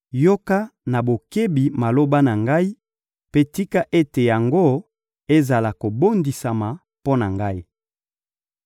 «Yoka na bokebi maloba na ngai, mpe tika ete yango ezala kobondisama mpo na ngai.